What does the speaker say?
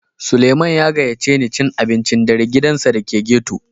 Sulieman ya gaƴace ni cin abincin ɗare a giɗansa da ke ghetto.